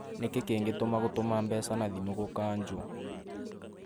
Nĩkĩ kĩngĩtũma gũtũma mbeca na thimũ gũkanjwo?